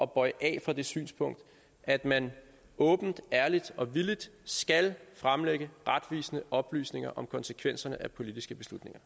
bøje af fra det synspunkt at man åbent ærligt og villigt skal fremlægge retvisende oplysninger om konsekvenserne af politiske beslutninger